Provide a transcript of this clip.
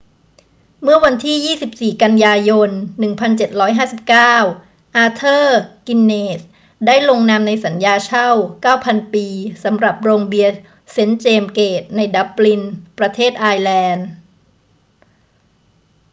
เมื่อวันที่ 24 กันยายน 1759 อาเธอร์ กินเนสส์ได้ลงนามในสัญญาเช่า 9,000 ปีสำหรับโรงเบียร์เซนต์เจมส์เกตในดับลิน ประเทศไอร์แลนด์